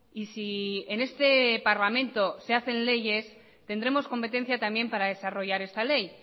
y si en este parlamento se hacen leyes tendremos competencia también para desarrollar esta ley